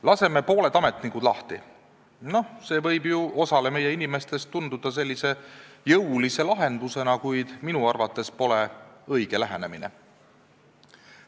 Laseme pooled ametnikud lahti – noh, see võib ju osale inimestest tunduda jõulise lahendusena, kuid minu arvates pole see õige lähenemine.